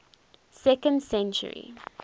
second century